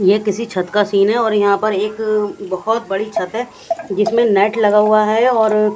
ये किसी छत का सीन है और यहां पर एक बहुत बड़ी छत है जिसमें नेट लगा हुआ है और--